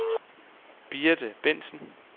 Birte Bentsen